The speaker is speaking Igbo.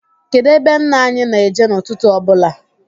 Kedụ ebe nna anyị na-eje n' ụtụtụ ọbụla?